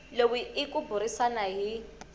lowu i ku burisana hi